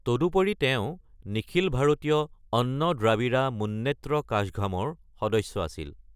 তদুপৰি তেওঁ নিখিল ভাৰতীয় অন্ন দ্ৰাবিড় মুন্নেত্ৰ কাঝগামৰ সদস্য আছিল।